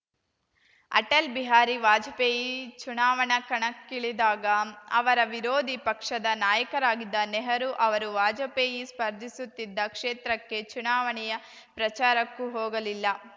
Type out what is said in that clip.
ಅಟಲ್‌ ಬಿಹಾರಿ ವಾಜಪೇಯಿ ಚುನಾವಣಾ ಕಣಕ್ಕಿಳಿದಾಗ ಅವರ ವಿರೋಧಿ ಪಕ್ಷದ ನಾಯಕರಾಗಿದ್ದ ನೆಹರು ಅವರು ವಾಜಪೇಯಿ ಸ್ಪರ್ಧಿಸುತ್ತಿದ್ದ ಕ್ಷೇತ್ರಕ್ಕೆ ಚುನಾವಣೆಯ ಪ್ರಚಾರಕ್ಕೂ ಹೋಗಲಿಲ್ಲ